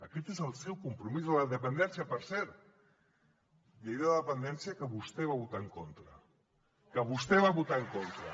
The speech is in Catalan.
aquest és el seu compromís amb la dependència per cert llei de la dependència que vostè va votar en contra que vostè va votar en contra